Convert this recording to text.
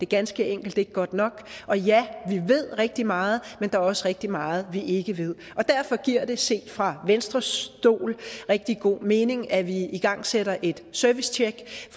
ganske enkelt ikke godt nok og ja vi ved rigtig meget men der er også rigtig meget vi ikke ved og derfor giver det set fra venstres stol rigtig god mening at vi igangsætter et servicetjek